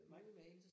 Nej